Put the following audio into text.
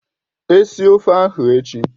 Esie ofe ahụ echi!